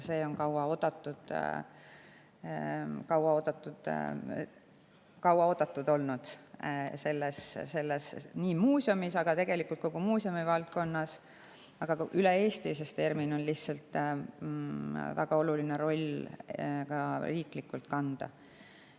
Seda on kaua oodatud selles muuseumis ja tegelikult kogu muuseumivaldkonnas, aga ka üle Eesti, sest ERM‑il on ka riiklikult väga oluline roll kanda.